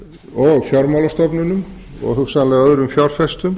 og fjármálastofnunum og hugsanlega öðrum fjárfestum